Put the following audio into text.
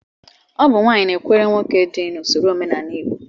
Ọ bụ nwaanyị na-ekwere nwoke dị n'usoro omenala Igbo